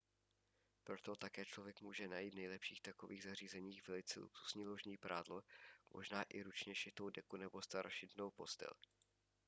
proto také člověk může najít v nejlepších takových zařízeních velice luxusní ložní prádlo možná i ručně šitou deku nebo starožitnou postel